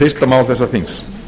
fyrsta mál þessa þings